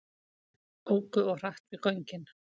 Óku of hratt við göngin